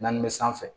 Naani bɛ sanfɛ